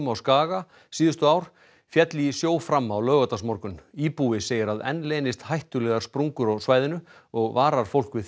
á Skaga síðustu ár féll í sjó fram á laugardagsmorgun íbúi segir að enn leynist hættulegar sprungur á svæðinu og varar fólk við